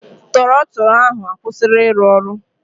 Trọtụlụ ahụ akwụsịla ịrụ ọrụ.